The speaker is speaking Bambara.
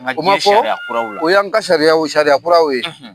o ma fɔ o y'an ka sariyakuraraw ye.